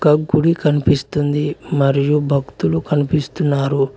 ఒక గుడి కనిపిస్తుంది మరియు భక్తులు కనిపిస్తున్నారు.